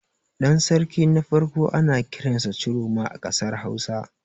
Ɗan sarki na farko ana kiransa Ciroma a ƙasar Hausa.